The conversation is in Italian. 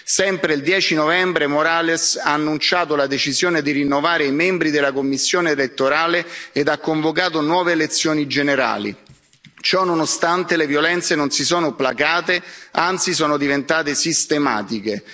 Sempre il 10 novembre, Morales ha annunciato la decisione di rinnovare i membri della commissione elettorale ed ha convocato nuove elezioni generali. Ciononostante, le violenze non si sono placate, anzi sono diventate sistematiche.